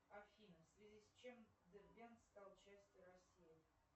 афина в связи с чем дербент стал частью россии